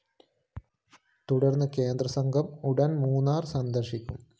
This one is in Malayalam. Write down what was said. തുടര്‍ന്ന് കേന്ദ്രസംഘം ഉടന്‍ മൂന്നാര്‍ സന്ദര്‍ശിക്കും